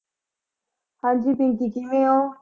ਹਾਂਜੀ ਬੀਜੀ ਕਿਵੇਂ ਹੋ?